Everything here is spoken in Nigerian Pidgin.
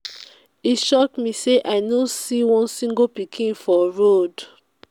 e shock me say i no see one single pikin for road.